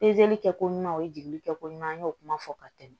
kɛ ko ɲuman o ye jigili kɛ ko ɲuman an y'o kuma fɔ ka tɛmɛ